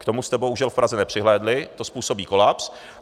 K tomu jste bohužel v Praze nepřihlédli, to způsobí kolaps.